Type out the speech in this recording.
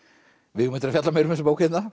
við eigum eftir að fjalla meira um þessa bók hérna